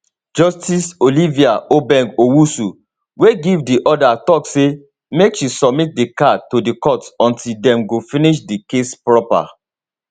justice olivia obeng owusu wey give di order tok say make she submit di car to di court until dem go finish di case proper